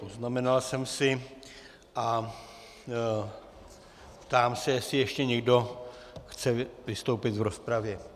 Poznamenal jsem si a ptám se, jestli ještě někdo chce vystoupit v rozpravě.